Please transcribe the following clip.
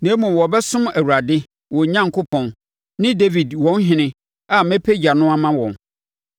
Na mmom wɔbɛsom Awurade, wɔn Onyankopɔn ne Dawid wɔn ɔhene, a mɛpagya no ama wɔn.